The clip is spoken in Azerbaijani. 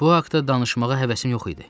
Bu haqda danışmağa həvəsim yox idi.